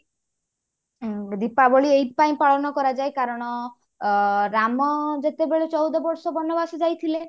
ଉଁ ଦୀପାବଳି ଏଇଥିପାଇଁ ପାଳନ କରାଯାଏ କାରଣ ଅ ରାମ ଯେତେବେଳେ ଚଉଦ ବର୍ଷ ବନବାସ ଯାଇଥିଲେ